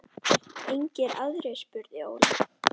Engir aðrir? spurði Óli.